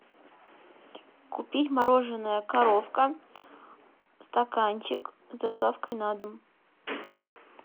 купить мороженое коровка стаканчик с доставкой на дом